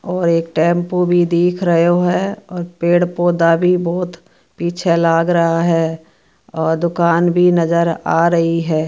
और एक टेंपो भी दिख रहियो है और पेड़ पौधा भी बहुत पीछे लाग रहा हैं और दुकान भी नजर आ रही है।